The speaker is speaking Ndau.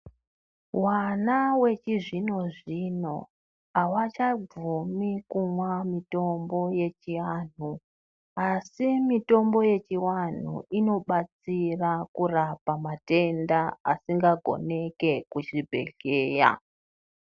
Vana vechizvino zvino avachabvumi kumwa mitombo yechiantu asi mitombo yechiantu inobetsera kurapa matenda asingagoneki kuzvibhedhlera.